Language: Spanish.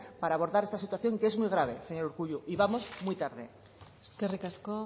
para abordar esta situación que es muy grave señor urkullu y vamos muy tarde eskerrik asko